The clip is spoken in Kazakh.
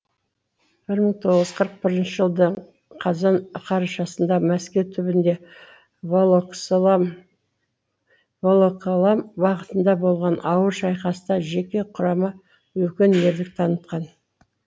бір мың тоғыз жүз қырық бірінші жылдың қазан қарашасында мәскеу түбінде волоколам бағытында болған ауыр шайқаста жеке құрама үлкен ерлік танытқан